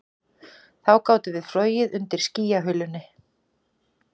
Þá gátum við flogið undir skýjahulunni